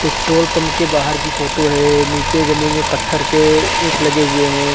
Petrol pump के बहार की फोटो है नीचे जमीन में पत्थर के इंट लगे हुए हैं।